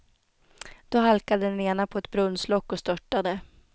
Då halkade den ena på ett brunnslock och störtade.